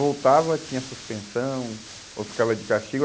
Voltava, tinha suspensão, ou ficava de castigo.